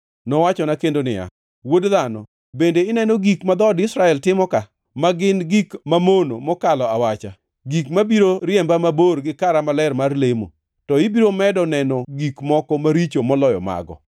Nowachona kendo niya, “Wuod dhano, bende ineno gik ma dhood Israel timo ka, ma gin gik mamono mokalo awacha, gik mabiro riemba mabor gi kara maler mar lemo? To ibiro medo neno gik moko maricho moloyo mago.”